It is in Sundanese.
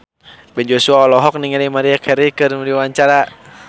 Ben Joshua olohok ningali Maria Carey keur diwawancara